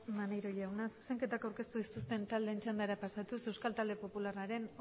maneiro jauna zuzenketak aurkeztu ez dituzten taldeen txandara pasatuz euskal talde popularraren